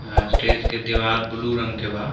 यहाँ स्टेज के देवार ब्लू रंग के बा।